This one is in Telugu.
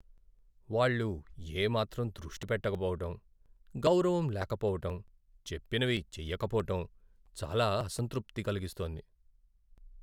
వాళ్లు ఏ మాత్రం దృష్టి పెట్టకపోవటం, గౌరవం లేకపోవటం, చెప్పినవి చేయకపోవటం చాలా అసంతృప్తి కలిగిస్తోంది.